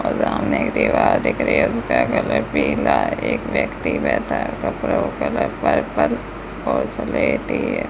और यहां में एक दीवार दिख रही है उसका कलर पीला है एक व्यक्ति बैठा है कपड़ों का कलर पर्पल और स्लेटी है।